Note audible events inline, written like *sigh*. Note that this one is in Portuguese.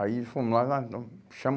Aí fomos lá, *unintelligible* chama